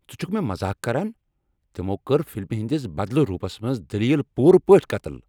ژٕ چُھکھ مےٚ مذاق كران ؟ تمو کٔر فلمہ ہندس بدلہ روپس منز دلیل پوٗرٕ پٲٹھۍ قتل۔